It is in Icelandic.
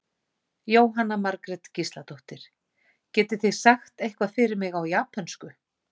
Jóhanna Margrét Gísladóttir: Getið þið sagt eitthvað fyrir mig á japönsku?